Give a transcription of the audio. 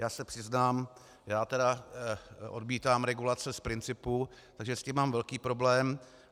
Já se přiznám, já tedy odmítám regulace z principu, takže s tím mám velký problém.